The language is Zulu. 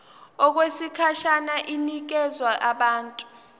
okwesikhashana inikezwa abantu